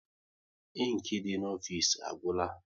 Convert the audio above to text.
Inki dị n'ofisi agwụla